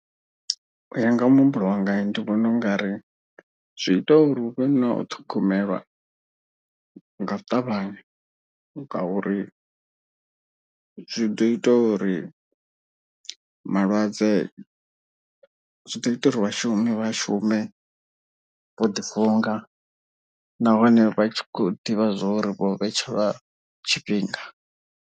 U ya nga muhumbulo wanga ndi vhona ungari zwi ita uri hu vhe na u ṱhogomelwa nga u ṱavhanya. Ngauri zwi ḓo ita uri vhalwadze zwi ḓo ita uri vhashumi vha shume vho ḓi funga. Nahone vha tshi khou ḓivha zwori vho vhetshelwa tshifhinga.